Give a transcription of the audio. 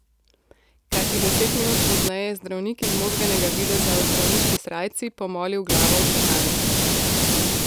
Kakih deset minut pozneje je zdravnik izmozganega videza v zdravniški srajci pomolil glavo v čakalnico.